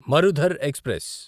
Marudhar express